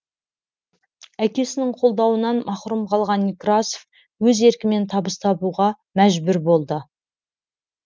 әкесінің қолдауынан мақұрым қалған некрасов өз еркімен табыс табуға мәжбүр болды